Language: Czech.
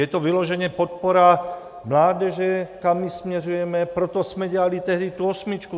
Je to vyloženě podpora mládeže, kam ji směřujeme, proto jsme dělali tehdy tu osmičku.